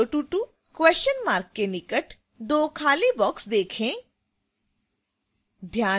022 question mark के निकट दो खाली boxes देखें